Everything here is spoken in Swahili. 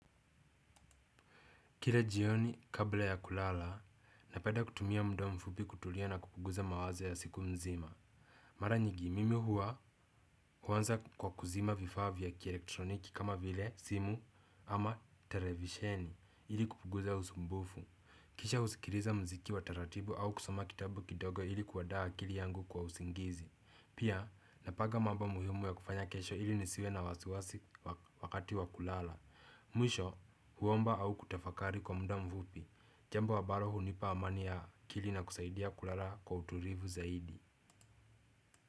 Kila jioni kabla ya kulala, napenda kutumia muda mfupi kutulia na kupunguza mawazo ya siku nzima. Mara nyingi, mimi huanza kwa kuzima vifaa vya kielektroniki kama vile simu ama televisheni ili kupunguza usumbufu. Kisha husikiliza muziki wa taratibu au kusoma kitabu kidogo ili kuandaa akili yangu kwa usingizi. Pia, napanga mambo muhimu ya kufanya kesho ili nisiwe na wasiwasi wakati wa kulala. Mwisho huomba au kutafakari kwa muda mfupi. Jambo ambalo hunipa amani ya akili na kusaidia kulala kwa utulivu zaidi.